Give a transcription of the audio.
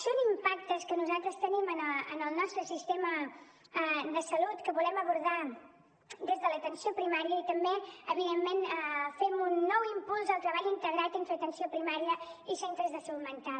són impactes que nosaltres tenim en el nostre sistema de salut que volem abordar des de l’atenció primària i també evidentment fem un nou impuls al treball integrat entre atenció primària i centres de salut mental